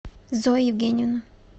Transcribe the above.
зоя евгеньевна